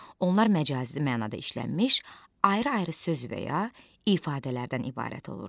Onlar məcazi mənada işlənmiş ayrı-ayrı söz və ya ifadələrdən ibarət olur.